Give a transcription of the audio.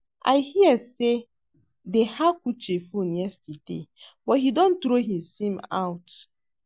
I hear say dey hack Uche phone yesterday but he don throw his sim out